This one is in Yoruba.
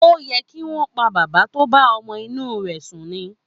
Ó yẹ kí wọ́n pa bàbá tó bá ọmọ inú rẹ sùn ni.